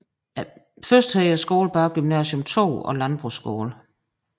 Først hed skolen bare Gymnasium II og Landbrugsskole